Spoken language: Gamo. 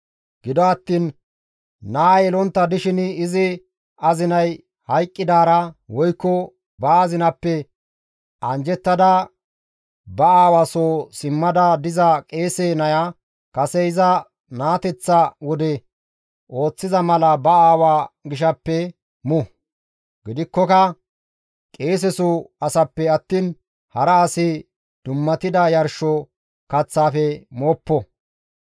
Gido attiin naa yelontta dishin izi azinay hayqqidaara woykko ba azinappe anjjettada ba aawa soo simmada diza qeese naya kase iza naateteththa wode ooththiza mala ba aawa gishaappe mu; gidikkoka qeeseso asappe attiin hara asi dummatida yarsho kaththaafe mooppo.